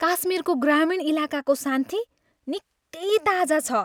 काश्मिरको ग्रामीण इलाकाको शान्ति निकै ताजा छ।